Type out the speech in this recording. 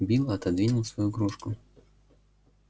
билл отодвинул свою кружку